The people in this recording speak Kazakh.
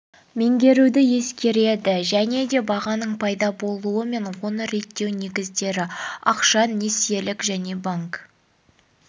меңгеруді ескереді және де бағаның пайда болуы мен оны реттеу негіздері ақша несиелік және банк